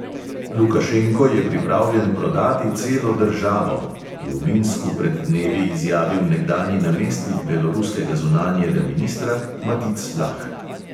"Lukašenko je pripravljen prodati celo državo," je v minsku pred dnevi izjavil nekdanji namestnik beloruskega zunanjega ministra matic lah.